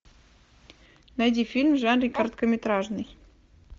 найди фильм в жанре короткометражный